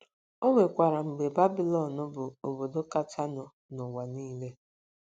O nwekwara mgbe Babịlọn bụ obodo kachanụ n’ụwa niile.